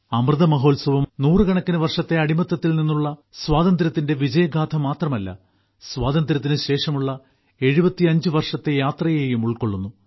അമൃത മഹോത്സവ് നൂറുകണക്കിന് വർഷത്തെ അടിമത്തത്തിൽ നിന്നുള്ള സ്വാതന്ത്ര്യത്തിന്റെ വിജയഗാഥ മാത്രമല്ല സ്വാതന്ത്ര്യത്തിന് ശേഷമുള്ള 75 വർഷത്തെ യാത്രയെയും ഉൾക്കൊള്ളുന്നു